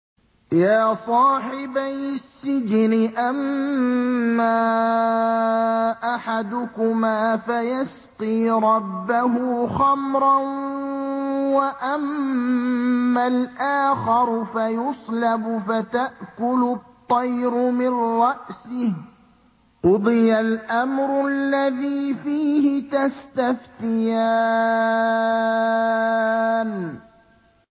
يَا صَاحِبَيِ السِّجْنِ أَمَّا أَحَدُكُمَا فَيَسْقِي رَبَّهُ خَمْرًا ۖ وَأَمَّا الْآخَرُ فَيُصْلَبُ فَتَأْكُلُ الطَّيْرُ مِن رَّأْسِهِ ۚ قُضِيَ الْأَمْرُ الَّذِي فِيهِ تَسْتَفْتِيَانِ